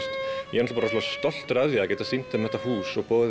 ég er stoltur af því að geta sýnt þeim þetta hús og boðið